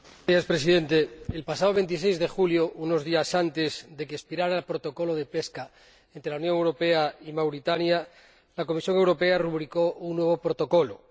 Señor Presidente, el pasado 26 de julio, unos días antes de que expirara el Protocolo de Pesca entre la Unión Europea y Mauritania, la Comisión Europea rubricó un nuevo protocolo.